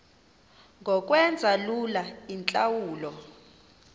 ngokwenza lula iintlawulo